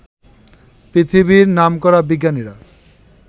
পৃথিবীর নামকরা বিজ্ঞানীরা